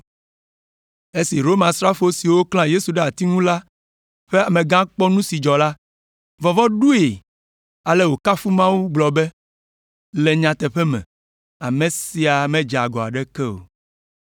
Esi Romasrafo siwo klã Yesu ɖe ati ŋu la ƒe amegã kpɔ nu si dzɔ la, vɔvɔ̃ ɖoe, ale wòkafu Mawu gblɔ be, “Le nyateƒe me, ame sia medze agɔ aɖeke o.”